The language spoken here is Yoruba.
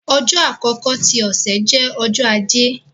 ọjọ àkọkọ ti ọsẹ jẹ Ọjọ́ Ajé.